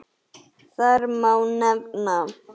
Þar má nefna